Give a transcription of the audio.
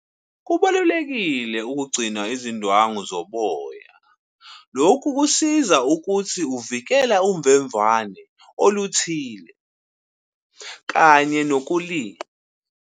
Kubalulekile ukugcina izindwangu zoboya. Lokhu kusiza ukuthi uvikela uvemvane oluthile, kanye .